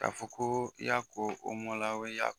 Ka fɔ ko i y'a fɔ ko